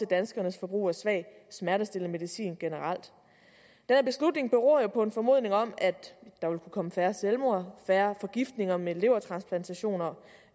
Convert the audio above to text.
danskernes forbrug af svag smertestillende medicin generelt den beslutning beror på en formodning om at der vil kunne komme færre selvmord og færre forgiftninger med levertransplantationer